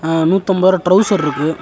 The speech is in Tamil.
அ நூத்தம்பது ரூவா ட்ரவுசர் இருக்கு.